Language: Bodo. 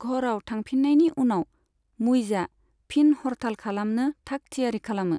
घरआव थांफिन्नायनि उनाव, मुइजआ फिन हरथाल खालामनो थाग थियारि खालामो।